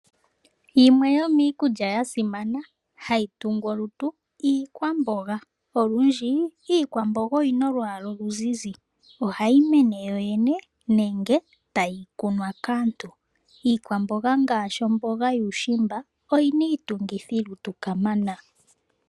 Yimwe yomiikulya yasimana hayi tungu olutu iikwamboga, olundji iikwamboga oyina olwaala oluzizi, ohayi mene yoyene nenge tayi kunwa kaantu. Iikwamboga ngaashi omboga yokuushimba oyina iitungithilutu kamana.